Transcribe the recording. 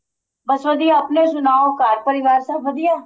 ਬੱਸ ਵਧੀਆ ਆਪਣੇ ਸੁਨਾਉ ਘਰ ਪਰਿਵਾਰ ਸਭ ਵਧੀਆ